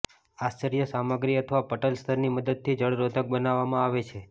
આશ્રય સામગ્રી અથવા પટલ સ્તરની મદદથી જળરોધક બનાવવામાં આવે છે